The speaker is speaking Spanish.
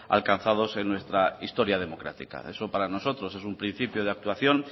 alcanzados en nuestra historia democrática eso para nosotros es un principio de actuación